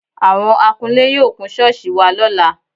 Àwọ̀n akunlé yóò kun ṣọ́ọ̀ṣì wa lọ́la